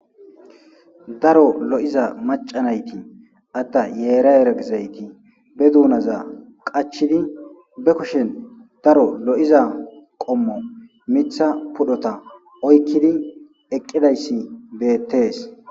daro lo7iza macanayti atta yeera yeragizayti be duunaza qachidi be kushen daro lo7iza qommo mitha pudhota oykkidi eqqidayssi beettees